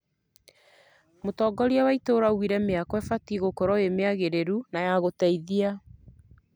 Mũtongoria wa itũra augire mĩako ĩbatiĩ gũkorwo ĩrĩ mĩagĩrĩru na ya gũteithia